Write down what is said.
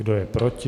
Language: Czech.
Kdo je proti?